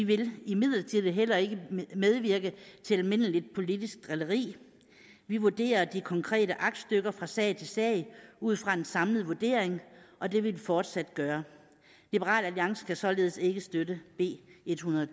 vil imidlertid heller ikke medvirke til almindeligt politisk drilleri vi vurderer de konkrete aktstykker fra sag til sag ud fra en samlet vurdering og det vil vi fortsat gøre liberal alliance kan således ikke støtte b ethundrede